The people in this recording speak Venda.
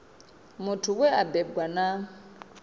muthu we a bebwa na